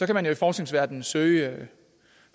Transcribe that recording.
kan i forskningsverdenen søge